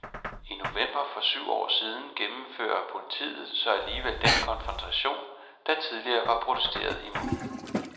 I november for syv år siden gennemfører politiet så alligevel den konfrontation, der tidligere var protesteret imod.